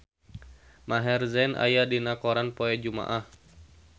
Maher Zein aya dina koran poe Jumaah